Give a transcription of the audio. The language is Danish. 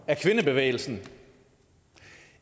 af kvindebevægelsen